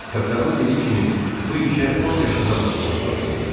Kapitanın dediyi kimi, bu işə 10 yaşında başlamaq lazım idi.